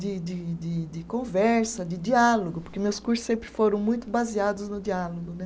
de de de de conversa, de diálogo, porque meus cursos sempre foram muito baseados no diálogo.